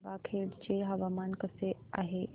गंगाखेड चे हवामान कसे आहे